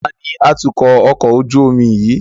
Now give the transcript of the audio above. Taàní atukọ̀ ọkọ̀ ojú omi yìí?